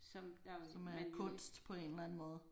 Som er kunst på en eller anden måde